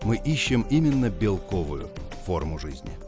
мы ищем именно белковую форму жизни